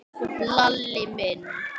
Hefur honum verið teflt fram?